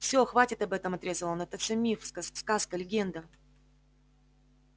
все хватит об этом отрезал он это все миф сказка легенда